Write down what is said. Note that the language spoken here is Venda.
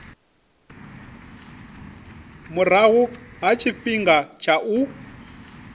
murahu ha tshifhinga tsha u